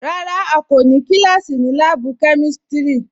Rárá à kò ní kílásí ní láàbù kẹmísítí